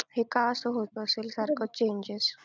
हे का असं होत असेल सारखं changes